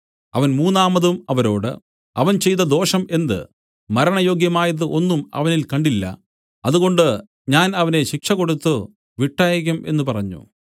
അവൻ മൂന്നാമതും അവരോട് അവൻ ചെയ്ത ദോഷം എന്ത് മരണയോഗ്യമായത് ഒന്നും അവനിൽ കണ്ടില്ല അതുകൊണ്ട് ഞാൻ അവനെ ശിക്ഷ കൊടുത്തു വിട്ടയയ്ക്കും എന്നു പറഞ്ഞു